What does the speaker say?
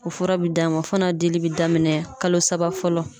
O fura bi d'a ma fana dili bɛ daminɛ kalo saba fɔlɔ.